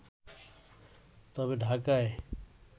তবে ঢাকায়